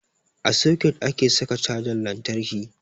A soket ake saka cajan lantarki